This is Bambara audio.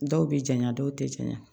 Dɔw bɛ janya dɔw tɛ janya